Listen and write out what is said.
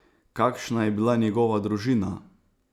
Kakšna je bila njegova družina?